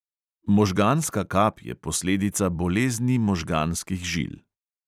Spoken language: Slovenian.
Možganska kap je posledica bolezni možganskih žil.